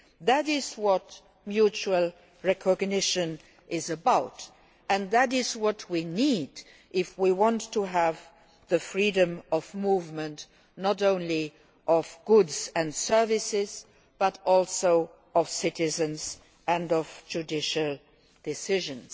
That is what mutual recognition is about and that is what we need if we want to have freedom of movement, not only of goods and services, but also of citizens and of judicial decisions.